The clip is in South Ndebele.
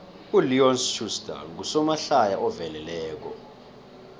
uleon schuster ngusomahlaya oveleleko